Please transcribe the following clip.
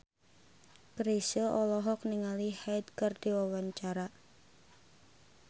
Chrisye olohok ningali Hyde keur diwawancara